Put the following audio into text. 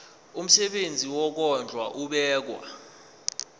umsebenzi wokondla ubekwa